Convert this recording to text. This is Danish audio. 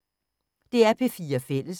DR P4 Fælles